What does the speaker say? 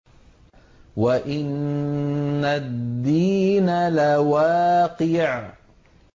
وَإِنَّ الدِّينَ لَوَاقِعٌ